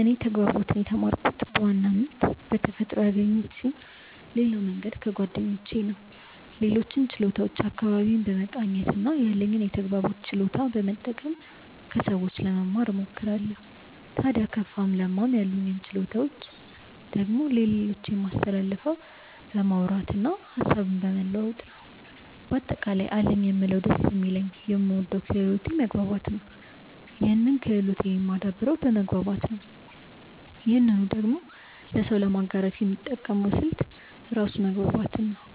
እኔ ተግባቦትን የተማርኩት በዋናነት በተፈጥሮ ያገኘሁት ስሆን ሌላው መንገድ ከጓደኞቼ ነው። ሌሎችን ችሎታዎች አካባቢዬን በመቃኘት እና ያለኝን የተግባቦት ችሎታ በመጠቀም ከሰዎች ለመማ እሞክራለው። ታድያ ከፋም ለማም ያሉኝን ችሎታዎች ደግሞ ለሌሎች የማስተላልፈው በማውራት እና ሀሳብን በመለዋወጥ ነው። በአጠቃላይ አለኝ የምለው ደስ የሚለኝ የምወደው ክህሎቴ መግባባት ነው ይህን ክህሎቴን የማደብረው በመግባባት ነው ይህንኑ ደግሞ ለሰው ለማጋራት የምጠቀመው ስልት ራሱ መግባባትን ነው።